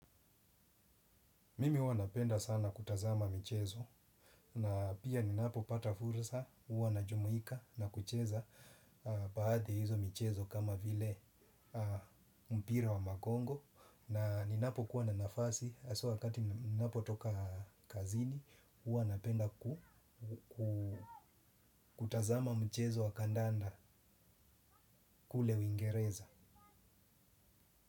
Mimi huwa napenda sana kutazama michezo na pia ninapopata fursa huwa najumuika na kucheza baadhi ya hizo mchezo kama vile mpira wa magongo na ninapokuwa na nafasi hasa wakati ninapotoka kazini huwa napenda kutazama mchezo wa kandanda kule uingereza.